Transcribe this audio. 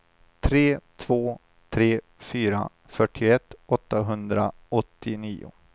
tre två tre fyra fyrtioett åttahundraåttionio